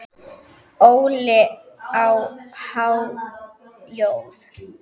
Óli á há joð?